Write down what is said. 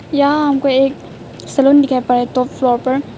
यहां हमको एक सैलून दिखाई पड़ रहा है प्रॉपर टॉप फ्लोर पर--